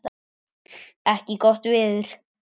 ekki gott veður.